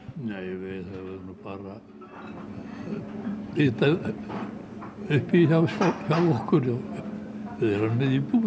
nei við höfum nú bara bita uppi hjá okkur við erum með íbúð